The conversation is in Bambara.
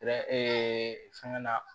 fɛngɛ na